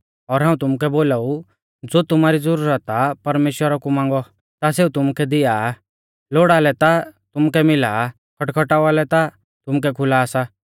और हाऊं तुमुकै बोलाऊ ज़ो तुमारी ज़ुरत आ परमेश्‍वरा कु मांगौ ता सेऊ तुमुकै दिआ आ लोड़ा लै ता तुमुकै मिला खटखटावा लै ता तुमुलै खुला सा